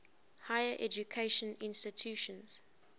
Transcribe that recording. higher education institutions